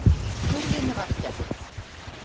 Hurðinni var skellt.